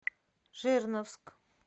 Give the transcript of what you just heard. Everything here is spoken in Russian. жирновск